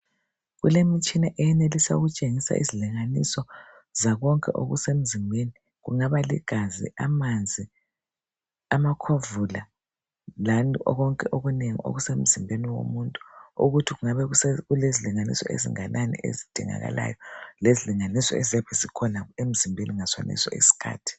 Kulemtshina eyenelisa ukutshengisa izilinganiso zakonke okusemzimbeni kungabaligazi, amanzi, amakhovula lani konke okunengi okusenzimbeni womuntu ukuthi kungabe kulezilinganiso ezinganani ezidingakalayo lezilinganiso eziyabe zikhona emzimbeni ngasoneso sikhathi